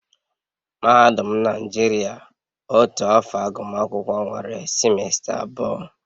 Mahadum Naijiria otu afọ agụmakwụkwọ nwere simesta abụọ